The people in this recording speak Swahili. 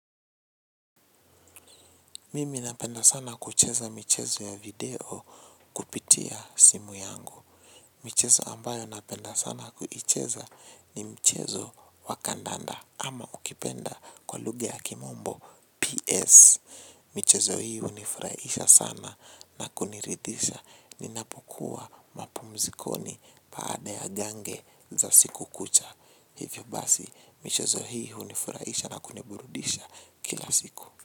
Mimi napenda sana kucheza michezo ya video kupitia simu yangu. Michezo ambayo napenda sana kucheza ni michezo wakandanda ama ukipenda kwa luga ya kimombo PS. Michezo hii unifurahisha sana na kuniridisha ninapokuwa mapumzikoni paada ya gange za siku kucha. Hivyo basi michezo hii unifurahisha na kuniburudisha kila siku.